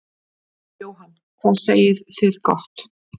Jóhann: Hvað segið þið gott.